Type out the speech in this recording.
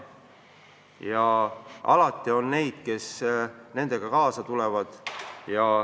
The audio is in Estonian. Alati on neid, kes kaasa tulevad.